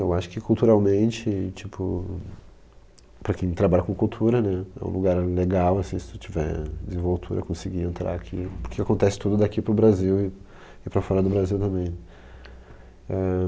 Eu acho que culturalmente, tipo, para quem trabalha com cultura né, é um lugar legal assim se tu tiver a desenvoltura de conseguir entrar aqui, porque acontece tudo daqui para o Brasil e para fora do Brasil também.